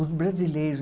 Os brasileiros.